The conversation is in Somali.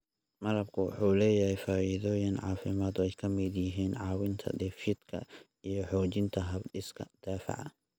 Malabku waxa uu leeyahay faa�iidooyin caafimaad oo ay ka mid yihiin caawinta dheefshiidka iyo xoojinta hab-dhiska difaaca.